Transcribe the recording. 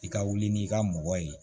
I ka wuli n'i ka mɔgɔ ye